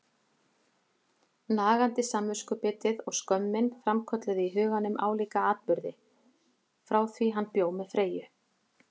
Nagandi samviskubitið og skömmin framkölluðu í huganum álíka atburði, frá því hann bjó með Freyju.